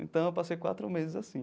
Então, eu passei quatro meses assim.